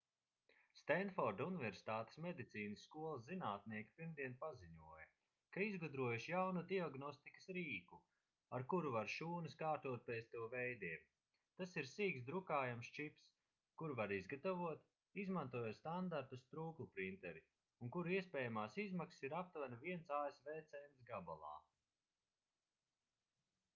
stenforda universitātes medicīnas skolas zinātnieki pirmdien paziņoja ka izgudrojuši jaunu diagnostikas rīku ar kuru var šūnas kārtot pēc to veidiem tas ir sīks drukājams čips kuru var izgatavot izmantojot standarta strūklprinteri un kura iespējamās izmaksas ir aptuveni viens asv cents gabalā